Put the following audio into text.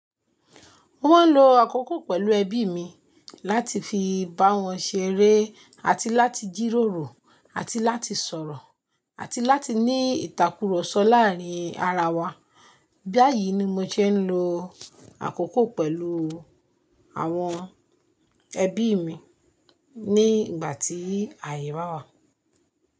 Mo máa ń lo àkókò pẹ̀lú ẹbí mi láti fi bá wọn ṣeré àti láti jíròrò àti láti sọ̀rọ̀ àti láti ní ìtàkurọ̀sọ láàárín ara wa. Bá àyìí ni mo ṣe ń lo àkókò pẹ̀lú àwọn ẹbí mi ní ìgbà tí àyè bá wà.